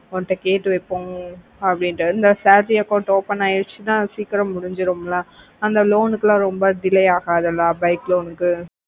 உங்கிட்ட கேய்டு வெக்கல அப்படினு salary account open ஐயருச்சின சீக்கிரம் முடிஞ்சிரும் ல அந்த loan குலா ரொம்ப delay அகத்துல bike loan கு